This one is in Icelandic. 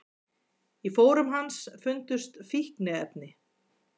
Í fórum hans fundust fíkniefni